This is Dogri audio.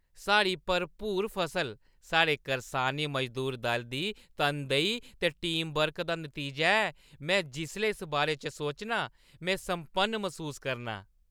साढ़ी भरपूर फसल साढ़े करसानी मजदूर दल दी तनदेही ते टीमवर्क दा नतीजा ऐ। में जिसलै इस बारे च सोचनां, में सम्पन्न मसूस करनां।